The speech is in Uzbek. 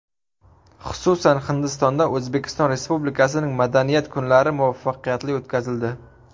Xususan, Hindistonda O‘zbekiston Respublikasining madaniyat kunlari muvaffaqiyatli o‘tkazildi.